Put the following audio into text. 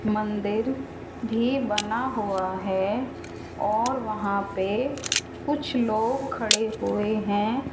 मंदिर भी बना हुआ है और वहां पे कुछ लोग खड़े हुए हैं।